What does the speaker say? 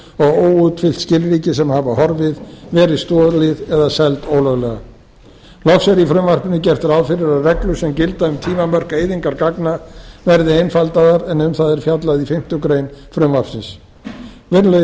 og óútfyllt skilríki sem hafa horfið verið stolið eða seld ólöglega loks er í frumvarpinu gert ráð fyrir að reglur sem gilda um tímamörk eyðingar gagna verði einfaldaðar en um það er fjallað í fimmtu grein frv virðulegi